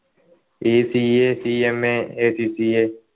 ഈ CACMAACCA